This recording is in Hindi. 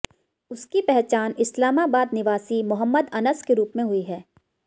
उसकी पहचान इस्लामाबाद निवासी मोहम्मद अनस के रूप में हुई है